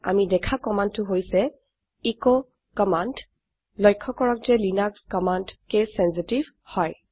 আমি দেখা কম্মান্দ টো হৈছে এচ কম্মান্দ লক্ষ্য কৰক যে লিনাক্স কমান্ড কেচ চেঞ্চিটিভ হয়